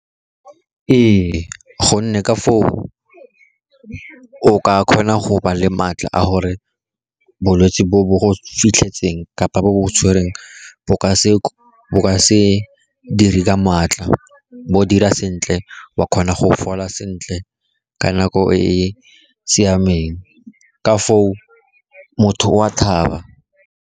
Ee gonne ka foo o ka kgona go ba le maatla a gore bolwetsi bo bo go fitlhetseng kapa bo bo tshwereng bo ka se dire ka maatla, bo dira sentle, wa kgona go fola sentle ka nako e e siameng, ka foo motho o a thaba.